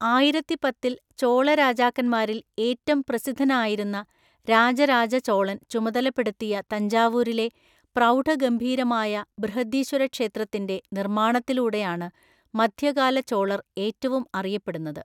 ആയിരത്തിപത്തില്‍ ചോള രാജാക്കന്മാരില്‍ ഏറ്റം പ്രസിദ്ധനായിരുന്ന രാജരാജ ചോളൻ ചുമതലപ്പെടുത്തിയ തഞ്ചാവൂരിലെ പ്രൗഢഗംഭീരമായ ബൃഹദീശ്വര ക്ഷേത്രത്തിന്‍റെ നിർമ്മാണത്തിലൂടെയാണ് മധ്യകാല ചോളർ ഏറ്റവും അറിയപ്പെടുന്നത്.